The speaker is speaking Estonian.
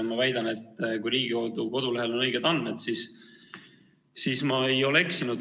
Ma väidan, et kui Riigikogu kodulehel on õiged andmed, siis ma ei ole eksinud.